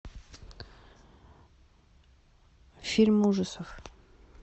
фильм ужасов